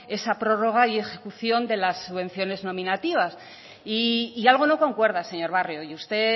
esa prórroga y ejecución de las subvenciones nominativas y algo no concuerda señor barrio y usted